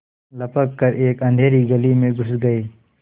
लपक कर एक अँधेरी गली में घुस गये